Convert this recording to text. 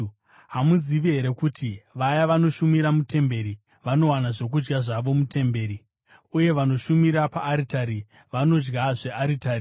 Hamuzivi here kuti vaya vanoshumira mutemberi vanowana zvokudya zvavo mutemberi, uye vanoshumira paaritari vanodya zvearitari?